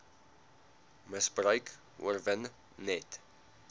misbruik oorwin net